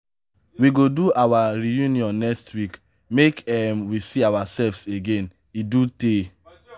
we go do our reunion next week make um we see ourselves again e do tey.